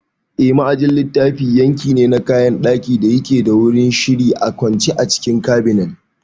Eh, ma'ajin littafi yanki ne na kayan ɗaki da yake da gurin shiri a kwance a cikin Cabinet